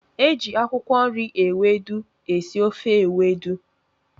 Eji akwụkwọ nri ewedu esị ofe ewedu.